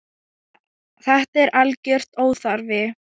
Þetta er algjör óþarfi.